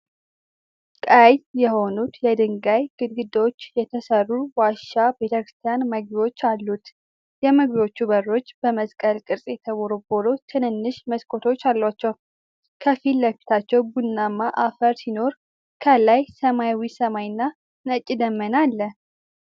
ቀይ የሆኑት የድንጋይ ግድግዳዎች የተሠሩ ዋሻ ቤተክርስቲያን መግቢያዎች አሉት። የመግቢያዎቹ በሮች በመስቀል ቅርጽ የተቦረቦሩ ትንንሽ መስኮቶች አሏቸው። ከፊት ለፊት ቡናማ አፈር ሲኖር፣ ከላይ ሰማያዊ ሰማይና ነጭ ደመና አለ።